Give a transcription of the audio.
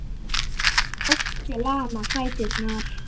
Ótti lamar fæturna.